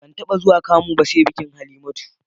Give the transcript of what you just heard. Ban taɓa zuwa kamu ba sai a bikin Halimatu